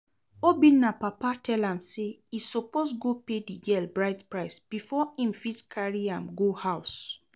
Obinna papa tell am say e suppose go pay the girl bride price before im fit carry am go house